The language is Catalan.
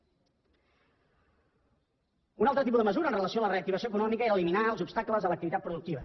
un altre tipus de mesura amb relació a la reactivació econòmica era eliminar els obstacles a l’activitat productiva